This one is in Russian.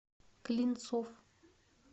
клинцов